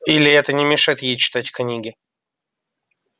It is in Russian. или это не мешает ей читать книги